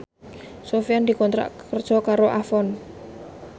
Sofyan dikontrak kerja karo Avon